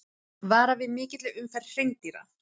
Varað við mikilli umferð hreindýra